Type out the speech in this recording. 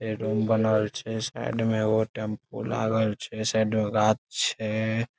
ए room बनल छै | side में एगो टेंपू लागल छै | ओय साइड गाछ छै ।